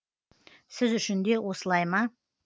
сіз үшін де осылай ма